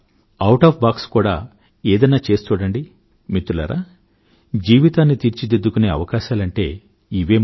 సంప్రదాయానికి భిన్నంగా కూడా ఏదన్నా చేసి చూడండి మిత్రులారా జీవితాన్ని తీర్చిదిద్దుకునే అవకాశాలంటే ఇవే మరి